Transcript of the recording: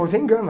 Você engana.